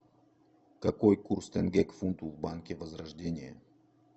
какой курс тенге к фунту в банке возрождение